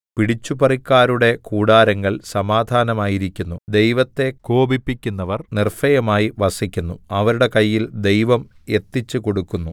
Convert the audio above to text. പിടിച്ചുപറിക്കാരുടെ കൂടാരങ്ങൾ സമാധാനമായിരിക്കുന്നു ദൈവത്തെ കോപിപ്പിക്കുന്നവർ നിർഭയമായ്‌ വസിക്കുന്നു അവരുടെ കയ്യിൽ ദൈവം എത്തിച്ചുകൊടുക്കുന്നു